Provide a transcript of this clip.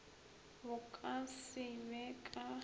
bo ka se be ka